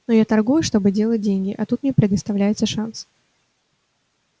но я торгую чтобы делать деньги а тут мне предоставляется шанс